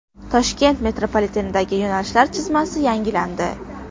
Toshkent metropolitenidagi yo‘nalishlar chizmasi yangilandi.